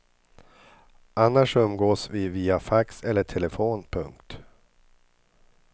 Annars umgås vi via fax eller telefon. punkt